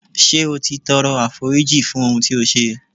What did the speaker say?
Ṣé o ti tọrọ àforíjìn fún ohun tí ó ṣe.